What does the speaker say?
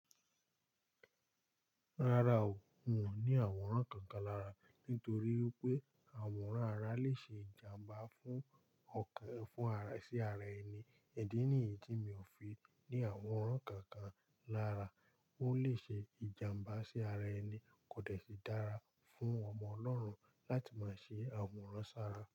Rárá o, n ò ní àwòrán kankan lára, nítorí wípé àwòrán ara le ṣe ìjàmbá fún ọkàn fún ara sí ara ẹni, idì níyí mi ò fi ní àwòrán kankan lára, ó lè ṣe ìjàmbá sí ara ẹni, kò dẹ̀ sí dára fún ọmọ Ọlọ́run láti máa ṣe àwòrán sára.